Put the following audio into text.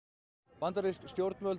bandarísk stjórnvöld